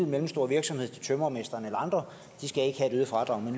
mellemstore virksomhed tømrermesteren eller andre skal ikke have et øget fradrag men